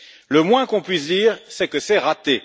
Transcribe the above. Le moins que l'on puisse dire, c'est que c'est raté!